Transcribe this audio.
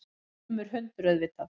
Grimmur hundur, auðvitað.